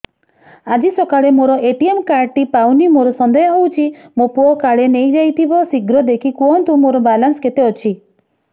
ଆଜି ସକାଳେ ମୋର ଏ.ଟି.ଏମ୍ କାର୍ଡ ଟି ପାଉନି ମୋର ସନ୍ଦେହ ହଉଚି ମୋ ପୁଅ କାଳେ ନେଇଯାଇଥିବ ଶୀଘ୍ର ଦେଖି କୁହନ୍ତୁ ମୋର ବାଲାନ୍ସ କେତେ ଅଛି